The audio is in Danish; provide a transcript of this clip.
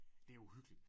Det uhyggeligt